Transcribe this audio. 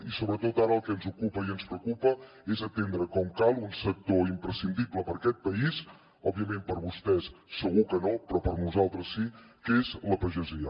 i sobretot ara el que ens ocupa i ens preocupa és atendre com cal un sector imprescindible per a aquest país òbviament per vostès segur que no però per nosaltres sí que és la pagesia